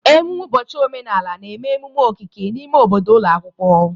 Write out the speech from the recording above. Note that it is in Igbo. Ememme ụbọchị omenala na-eme ememe okike n'ime obodo ụlọ akwụkwọ.